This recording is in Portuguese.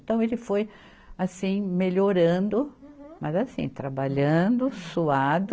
Então ele foi assim, melhorando. Uhum. Mas assim, trabalhando, suado.